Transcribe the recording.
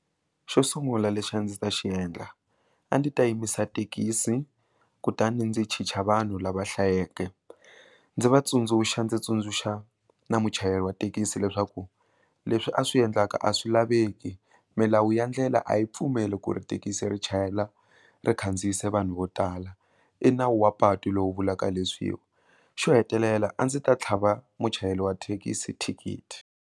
Xo sungula lexi a ndzi ta xiendla a ndzi ta yimisa thekisi kutani ndzi chicha vanhu lava hlayeke ndzi vatsundzuxa ndzi tsundzuxa na muchayeri wa thekisi leswaku leswi a swi endlaka a swi laveki milawu ya ndlela a yi pfumeli ku ri thekisi ri chayela ri khandziyisa vanhu vo tala i nawu wa patu lowu vulaka leswiwa xo hetelela a ndzi ta tlhava muchayeri wa thekisi thikithi.